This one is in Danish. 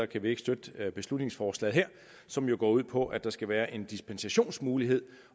kan vi ikke støtte beslutningsforslaget her som jo går ud på at der skal være en dispensationsmulighed